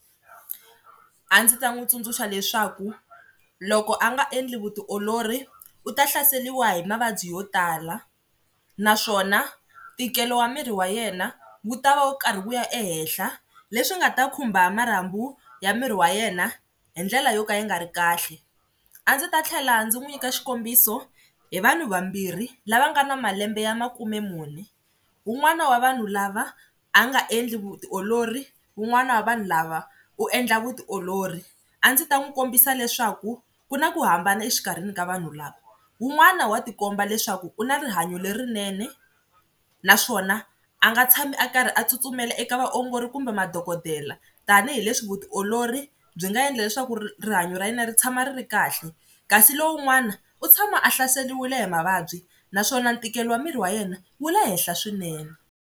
A ndzi ta n'wi tsundzuxa leswaku loko a nga endli vutiolori u ta hlaseriwa hi mavabyi yo tala, naswona ntikelo wa miri wa yena wu tava wu karhi wu ya ehehla leswi nga ta khumba marhambu ya miri wa yena hi ndlela yo ka yi nga ri kahle, a ndzi ta tlhela ndzi n'wi nyika xikombiso hi vanhu vambirhi lava nga na malembe ya makumemune, wun'wana wa vanhu lava a nga endli vutiolori wun'wana wa vanhu lava u endla vutiolori. A ndzi ta n'wi kombisa leswaku ku na ku hambana exikarhini ka vanhu lava, wun'wana wa tikomba leswaku u na rihanyo lerinene naswona a nga tshami a karhi a tsutsumela eka vaongori kumbe madokodela tanihileswi vutiolori byi nga endla leswaku rihanyo ra yena ri tshama ri ri kahle kasi lowun'wana u tshama a hlaseliwile hi mavabyi naswona ntikelo wa miri wa yena wu le henhla swinene.